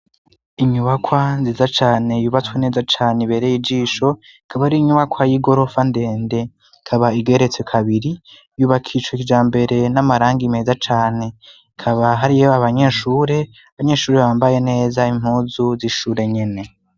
Inyubakwa nziza cane yubatswe neza cane ibereye ijisho kaba ario inyubakwa y'i gorofa ndende kaba igeretse kabiri yubakicwa ikija mbere n'amaranga imeza cane kaba hariyo abanyeshure abanyeshuri bambaye neza impuzu zishure nyene.